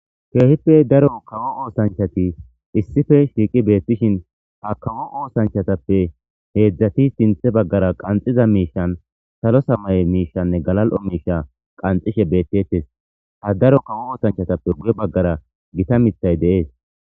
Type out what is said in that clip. Keehippe daro kawo osanchat issippe shiqi betishin ha kawo osanchatappe hezdzdati qanxiza misha salo samaye mishanne galal'o misha qanxishe betetes. Ha daro kawo osanchatappe guye Bagara Gitta mithay de'es.